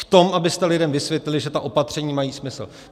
V tom, abyste lidem vysvětlili, že ta opatření mají smysl.